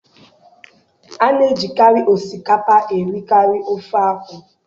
A na-ejikarị osikapa erikarị ofe akwụ